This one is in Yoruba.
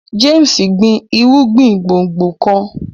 James gbin irúgbìn gbòngbò nìkàn.